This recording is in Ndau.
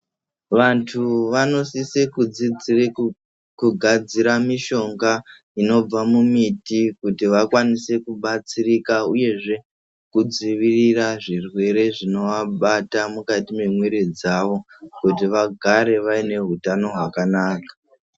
Wandu wanosise kudzidzire kugadzira mishonga inobva mumiti kuti wakwanise kubatsirika uyezve kudzivirira zvirwere zvinoabata mukati mwemwiri dzawo, kuti wagare wane hutano hwakanaka.